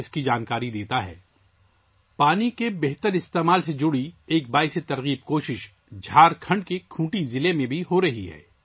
جھارکھنڈ کے کھنٹی ضلع میں بھی پانی کے موثر استعمال سے متعلق ایک متاثر کن کوشش ہو رہی ہے